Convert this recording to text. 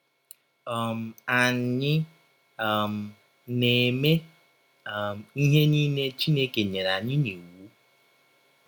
um Ànyị um na - eme um ihe niile Chineke nyere anyị n’iwụ?